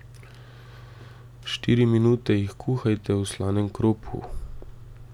Štiri minute jih kuhajte v slanem kropu.